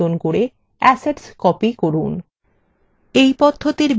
এই পদ্ধতির বিভিন্ন বিকল্পগুলি নিজে দেখুন